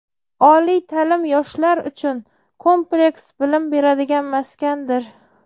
Oliy taʼlim yoshlar uchun kompleks bilim beradigan maskandir.